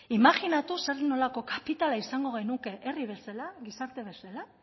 imajinatu zer nolako kapitala izango genuke herri bezala gizarte bezala